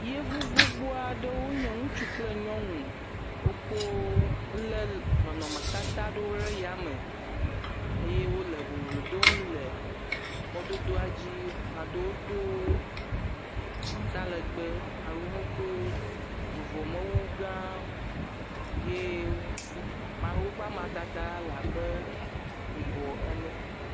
Yevu gbogbo aɖe wonye ŋutsu kple nyɔnu, wokɔ wolé nɔnɔmetata aɖewo ɖe fama eye wole boblo dom le mɔdodoa dzi. Ame aɖewo do atalagbẽ, ame aɖewo do vuvɔmewu gãwo ye wo ame aɖewo ƒe amadede le abe yibɔ ene.